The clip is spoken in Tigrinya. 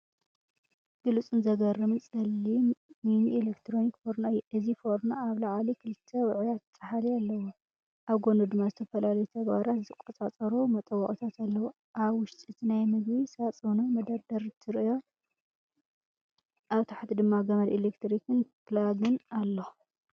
ብሉጽን ዘገርምን ጸሊም ሚኒ ኤሌክትሪክ ፎርኖ እየ! እዚ ፎርኖ ኣብ ላዕሊ ክልተ ውዑያት ጻሕሊ ኣለዎ። ኣብ ጎድኑ ድማ ዝተፈላለዩ ተግባራት ዝቆጻጸሩ መጠወቒታት ኣለዉ። ኣብ ውሽጢ እቲ ናይ ምግቢ ሳጹንን መደርደሪን ትርእዮ። ኣብ ታሕቲ ድማ ገመድ ኤሌክትሪክን ፕላግን ኣሎ።